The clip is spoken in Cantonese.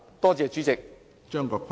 多謝主席。